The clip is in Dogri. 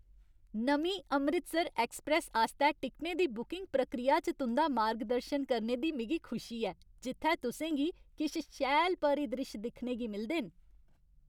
नमीं 'अमृतसर एक्सप्रैस्स' आस्तै टिकटें दी बुकिंग प्रक्रिया च तुं'दा मार्गदर्शन करने दी मिगी खुशी ऐ जित्थै तुसें गी किश शैल परिद्रिश्श दिक्खने गी मिलदे न।